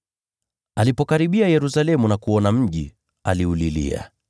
Alipokaribia Yerusalemu na kuuona mji, aliulilia,